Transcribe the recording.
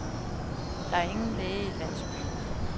Der er ingen læge i landsbyen.